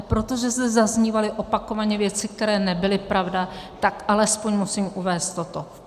A protože zde zaznívaly opakovaně věci, které nebyly pravda, tak alespoň musím uvést toto.